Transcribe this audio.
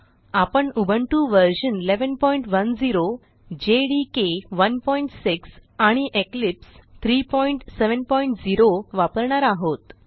आपण उबुंटू व्ह 1110 जेडीके 16 आणि इक्लिप्स 370 वापरणार आहोत